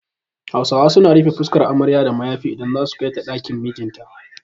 Hausawa su na rufe fuskar amarya da mayafi idan za'a kai ta ɗakin mijin ta